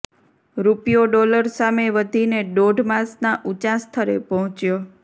રૂપિયો ડોલર સામે વધીને દોઢ માસના ઊંચા સ્તરે પહોંચ્યો